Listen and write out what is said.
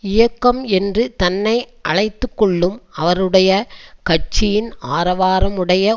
இயக்கம் என்று தன்னை அழைத்து கொள்ளும் அவருடைய கட்சியின் ஆரவாரமுடைய